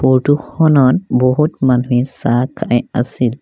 Photo খনত বহুত মানুহে চাহ খাই আছিল।